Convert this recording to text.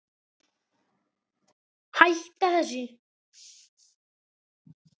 Hætta þessu!